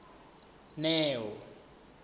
neo